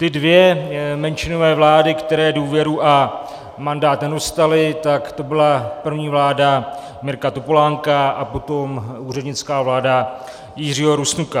Ty dvě menšinové vlády, které důvěru a mandát nedostaly, tak to byla první vláda Mirka Topolánka a potom úřednická vláda Jiřího Rusnoka.